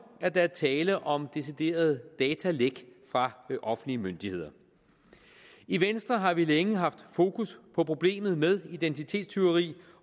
at der er tale om deciderede datalæk fra offentlige myndigheder i venstre har vi længe haft fokus på problemet med identitetstyveri